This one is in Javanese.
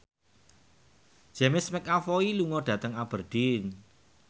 James McAvoy lunga dhateng Aberdeen